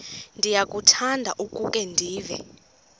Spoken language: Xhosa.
ndiyakuthanda ukukhe ndive